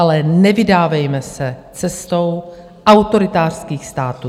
Ale nevydávejme se cestou autoritářských států.